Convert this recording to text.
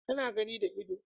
Ana gani da ido